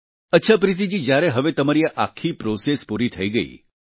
અચ્છા પ્રીતિ જી જ્યારે હવે તમારી આ આખી પ્રોસેસ પૂરી થઈ ગઈ